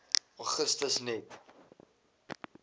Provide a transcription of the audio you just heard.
augustus net